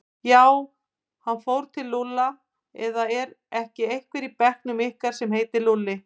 Já, hann fór til Lúlla eða er ekki einhver í bekknum ykkar sem heitir Lúlli?